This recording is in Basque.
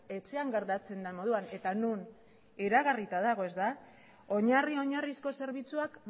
etxean gertatzen den moduan eta non iragarrita dago ezta oinarri oinarrizko zerbitzuak